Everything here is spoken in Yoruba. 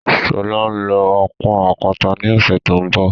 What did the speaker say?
Sọlá ń lọ ọ́ pọ́n àpáta ni ọ̀sẹ̀ tó ń bọ̀